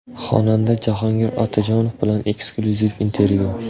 Xonanda Jahongir Otajonov bilan eksklyuziv intervyu.